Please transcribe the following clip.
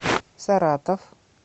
саратов